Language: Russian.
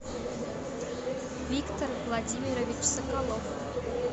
виктор владимирович соколов